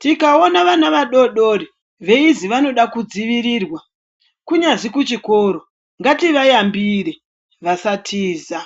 tikaona vana vadodori veizi vanoda kudzivirirwa kunyazi kuchikoro ngativayambire vasatiza